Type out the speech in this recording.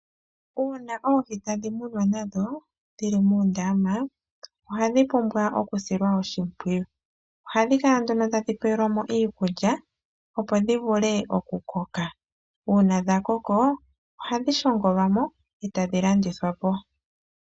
Uuna oohi tadhi munwa nadho dhili muundama ohadhi pumwa okusilwa oshimpwiyu, ohadhi kala nduno tadhi pewelwa mo iikulya opo dhi vule okukoka, uuna dhakoko ohadhi shongolwa mo etadhi landithwa po.